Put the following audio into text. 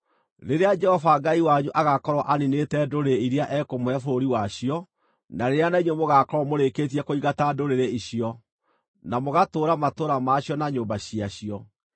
Rĩrĩa Jehova Ngai wanyu agaakorwo aniinĩte ndũrĩrĩ iria ekũmũhe bũrũri wacio, na rĩrĩa na inyuĩ mũgaakorwo mũrĩkĩtie kũingata ndũrĩrĩ icio, na mũgaatũũra matũũra ma cio na nyũmba ciacio,